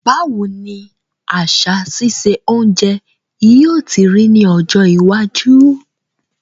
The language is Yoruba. Báwoni àsà sise ounje yio ti rí ní ọjọ́ iwájú